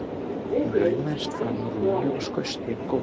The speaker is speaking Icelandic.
Hún laumaðist fram úr rúminu og skaust yfir gólfið.